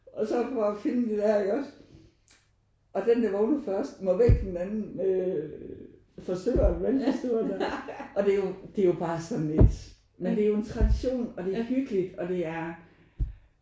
Og har så prøvet at finde det der iggås og den der vågnede først må vække den anden øh forsøge med vandpistolen der. Og det jo det er jo bare sådan et men det er jo en tradition og det er hyggeligt og det er